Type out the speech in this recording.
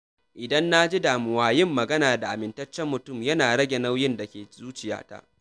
Idan na ji damuwa, yin magana da amintaccen mutum yana rage nauyin da ke zuciyata.